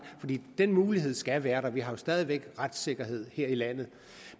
den mulighed skal være der vi har jo stadig væk retssikkerhed her i landet